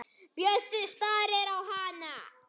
Bjössi starir á hana.